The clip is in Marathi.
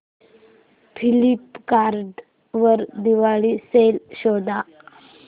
फ्लिपकार्ट वर दिवाळी सेल शोधा